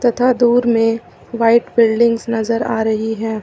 तथा दूर में व्हाइट बिल्डिंगस नजर आ रही है।